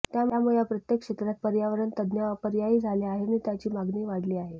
त्यामुळे या प्रत्येक क्षेत्रात पर्यावरण तज्ज्ञ अपरिहार्य झाला आहे आणि त्याची मागणी वाढली आहे